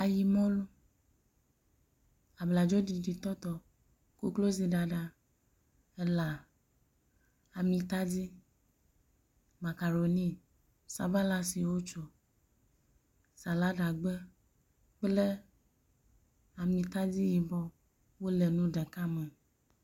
Ayi mɔlu, bladzo ɖiɖi tɔtɔ, koklozi ɖaɖa, elã, amitadi, makaroni, sabala si wotso, saladagbe kple amitadi yibɔ wole nu ɖeka me.